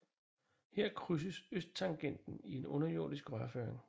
Her krydses Østtangenten i en underjordisk rørføring